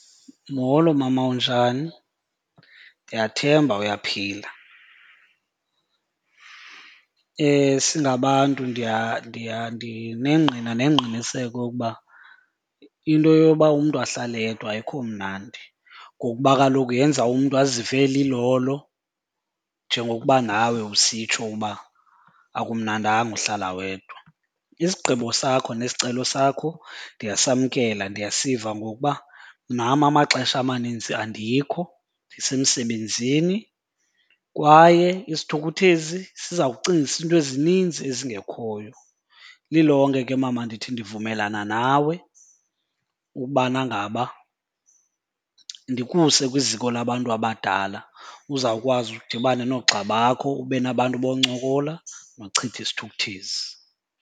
Molo, mama. Unjani? Ndiyathemba uyaphila. Singabantu ndiya ndiya ndinengqina nengqiniseko yokuba into yoba umntu ahlale yedwa ayikho mnandi ngokuba kaloku yenza umntu azive elilolo njengokuba nawe usitsho uba akumnandanga uhlala wedwa. Isigqibo sakho nesicelo sakho ndiyasamkela, ndiyasiva ngokuba nam amaxesha amaninzi andikho ndisemsebenzini kwaye isithukuthezi siza kucingisa iinto ezininzi ezingekhoyo. Lilonke ke mama ndithi ndivumelana nawe ubana ngaba ndikuse kwiziko labantu abadala uzawukwazi udibane noogxa bakho, ube nabantu boncokola nochitha isithukuthezi.